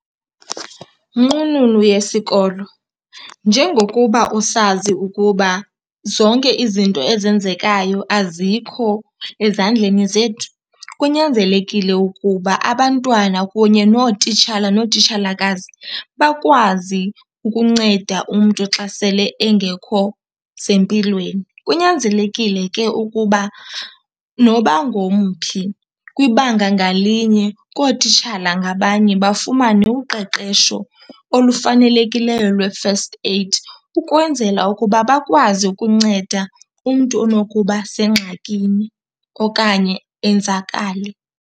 Nqununu yesikolo, njengokuba usazi ukuba zonke izinto ezenzekayo azikho ezandleni zethu, kunyanzelekile ukuba abantwana kunye nootitshala nootitshalakazi bakwazi ukunceda umntu xa sele engekho sempilweni. Kunyanzelekile ke ukuba noba ngomphi kwibanga ngalinye kootitshala ngabanye bafumane uqeqesho olufanelekileyo lwe-first aid ukwenzela ukuba bakwazi ukunceda umntu onokuba sengxakini okanye enzakale.